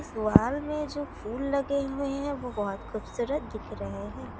वाल में जो फूल लगे हुए हैं वो बहुत खूबसूरत दिख रहे हैं।